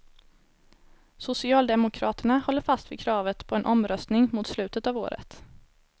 Socialdemokraterna håller fast vid kravet på en omröstning mot slutet av året.